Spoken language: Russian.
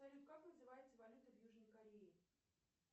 салют как называется валюта в южной корее